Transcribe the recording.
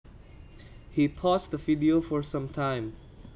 He paused the video for some time